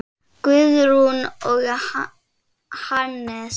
Guðrún og Hannes.